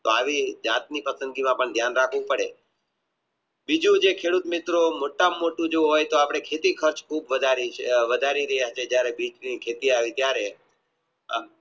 તો આવી જાત ની પસંદગીમાં પણ ધ્યાન રાખવું પડે બીજું જે ખેડૂત મિત્રો મોટા માં મોટું જો આપણે ખેતી ખર્ચ વધારીએ જયારે બીજ ની ખેતી આવી ત્યરે